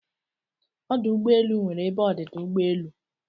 Ọdụ ụgbọelụ nwere ebe ọdịda ụgbọelụ